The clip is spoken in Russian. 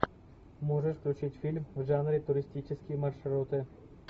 можешь включить фильм в жанре туристические маршруты